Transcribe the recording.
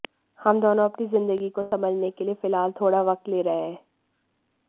हम दोनों अपनी जिंदगी को समझने के लिए फिलहाल थोड़ा वक्त ले रहे हैं